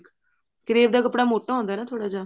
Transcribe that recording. crave ਦਾ ਕੱਪੜਾ ਮੋਟਾ ਹੁੰਦਾ ਨਾ ਥੋੜਾ ਜਾ